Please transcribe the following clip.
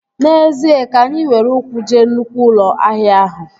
N'ezie, ka anyị were ụkwụ jee nnụkwụ ụlọ ahịa ahụ